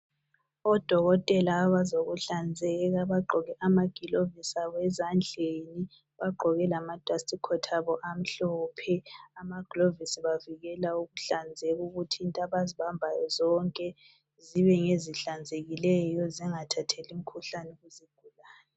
Amadokotela abazokuhlanzeka bagqoke amagilovisi abo ezandleni bagqoke lamadustcoat abo amhlophe. Amaglovisi abavikela ukuhlanzeka, ukuthi into abazibambayo zonke zibe ngezihlanzekileyo zingathatheli imikhuhlane.